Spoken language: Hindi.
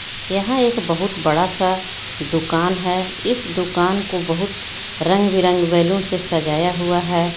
यहाँ एक बहुत बड़ा सा दूकान हे इस दूकान को बहुत रंग बे रंग बेलून से सजाया हुआ हे.